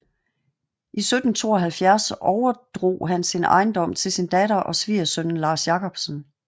I 1772 overdrog han sin ejendom til sin datter og svigersønnen Lars Jacobsen